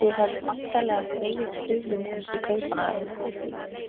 Þið hefðuð væntanlega þegið stuðning hans í Kaupmannahöfn?